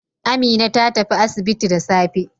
Amina ta tafi asibiti da safe.